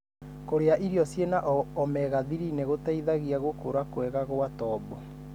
Kũria irio cĩina omega-3 nĩgũteithagia gũkura kwega gwa tombo.